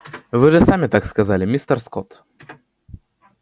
вы же сами так сказали мистер скотт